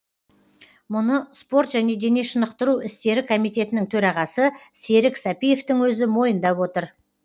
мұны спорт және дене шынықтыру істері комитетінің төрағасы серік сәпиевтің өзі мойындап отыр